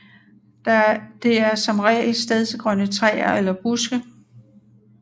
Det er som regel stedsegrønne træer eller buske